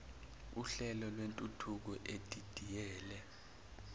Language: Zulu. uhlelo lwentuthuko edidiyele